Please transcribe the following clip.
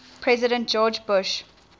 president george bush